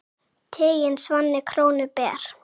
Tiginn svanni krónu ber.